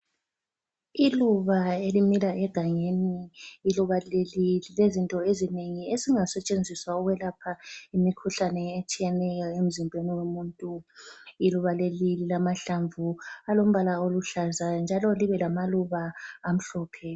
Iluba elimila egangeni, iluba leli lilezinto ezinengi ezingasetshenziswa ukwelapha imikhuhlane etshiyeneyo emzimbeni womuntu. Iluba leli lilamahlamvu alombala oluhlaza njalo libe lamaluba amhlophe.